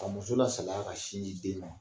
Ka muso la salaya ka sin di den ma